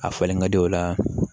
A falen ka di o la